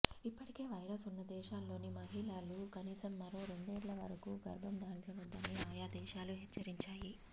ఇప్పటికే వైరస్ ఉన్న దేశాల్లోని మహిళలు కనీసం మరో రెండేండ్ల వరకూ గర్భం దాల్చవద్దని ఆయా దేశాలు హెచ్చరించాయి